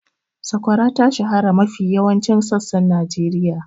Sakwara ta shahara a mafi yawan sassan Najeriya.